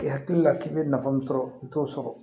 E hakili la k'i bɛ nafa min sɔrɔ i t'o sɔrɔ